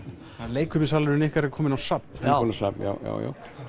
leikfimissalurinn ykkar er kominn á safn já safn já já